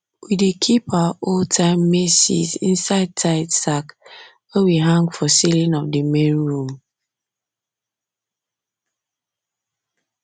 we dey keep our oldtime maize seeds inside tied sack wey we hang for ceiling of the main room